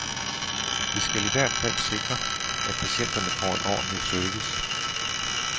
Vi skal i hvert fald sikre, at patienterne får en ordentlig service.